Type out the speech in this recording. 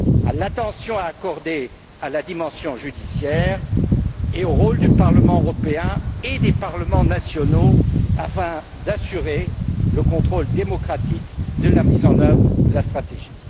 à l'attention à accorder à la dimension judiciaire et au rôle du Parlement européen et des parlements nationaux afin d'assurer le contrôle démocratique de la mise en œuvre de la stratégie.